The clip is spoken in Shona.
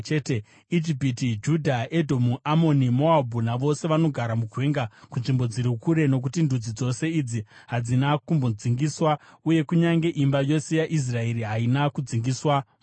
Ijipiti, Judha, Edhomu, Amoni, Moabhu navose vanogara mugwenga kunzvimbo dziri kure. Nokuti ndudzi dzose idzi hadzina kumbodzingiswa, uye kunyange imba yose yaIsraeri haina kudzingiswa, mumwoyo.”